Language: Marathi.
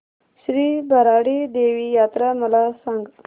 श्री भराडी देवी यात्रा मला सांग